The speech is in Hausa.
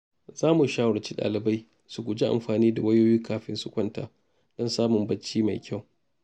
Za mu shawarci dalibai su guji amfani da wayoyi kafin su kwanta don samun bacci mai kyau.